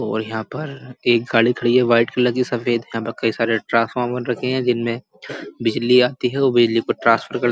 और यहाँ पर एक गाड़ी खडी है वाइट कलर की सफ़ेद यहाँ पर कई सारे ट्रांसफार्मर रखे हैं। जिनमें बिजली आती है और बिजली को ट्रान्सफर कर --